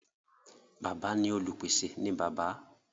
Bàbá ní Olupese ní bàbá.